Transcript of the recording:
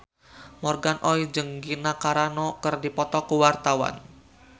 Morgan Oey jeung Gina Carano keur dipoto ku wartawan